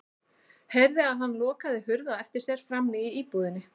Heyrði að hann lokaði hurð á eftir sér frammi í íbúðinni.